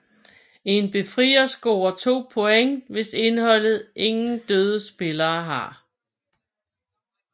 En befrier scorer 2 point hvis indeholdet ingen døde spillere har